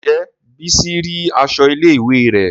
Ǹjẹ́ bísí rí aṣọ ilé ìwé rẹ̀?